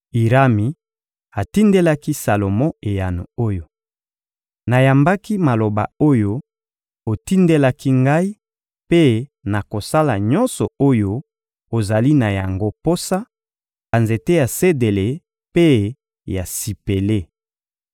Irami atindelaki Salomo eyano oyo: — Nayambaki maloba oyo otindelaki ngai mpe nakosala nyonso oyo ozali na yango posa: banzete ya sedele mpe ya sipele.